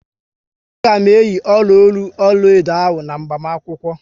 A ga m eyi ọla ọnụ ọlaedo ahụ n'agbamakwukwo